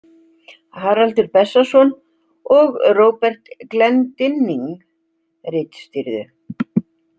Haraldur Bessason og Robert Glendinning ritstýrðu.